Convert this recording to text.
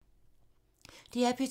DR P2